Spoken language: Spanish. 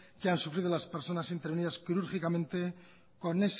que han sufrido las personas intervenidas quirúrgicamente con